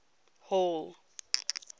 hall